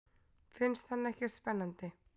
Finnst hann ekkert spennandi.